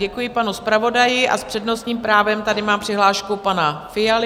Děkuji panu zpravodaji a s přednostním právem tady mám přihlášku pana Fialy.